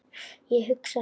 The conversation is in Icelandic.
Ég hugsa heim.